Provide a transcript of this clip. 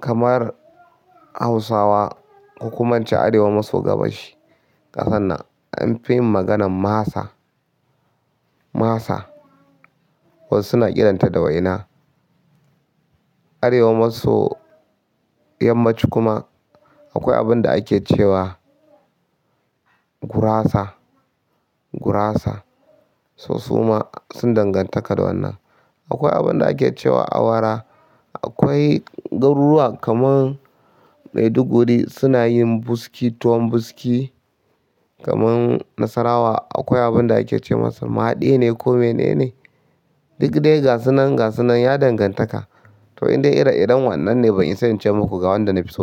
Kamar Hausawa ko kuma ince Arewa maso gabashin ƙasan nan, anfi yin maganan masa, masa. Wasu suna kiran ta da waina Arewa maso yammaci kuma akwai abunda ake cewa gurasa, gurasa. So, su ma sun dangantaka da wannan. Akwai abunda ake cewa awara. Akwai garuruwa kaman Maiduguri suna yin buski, tuwon buski. Kaman Nasarawa, akwai abun da ake ce masa maɗi ne ko menene. Duk dai gasunan, gasunan ya dangantaka. Toh indai ire-iren wannan ne, ban isa in ce muku ga wanda nafi so ba.